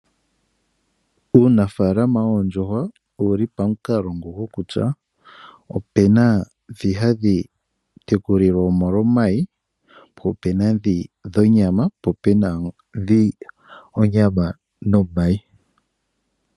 Uunafalama woondjuhwa owuli pamikalo dha yooloka oshoka opu na ndhoka hadhi tekulwa molwa omayi, onyama noshowo ndhoka hadhi tekulwa molwa iinima ayihe.